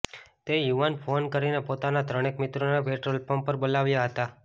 તે યુવાને ફોન કરીને પોતાના ત્રણેક મિત્રોને પેટ્રોલપંપ પર બોલાવ્યા હતા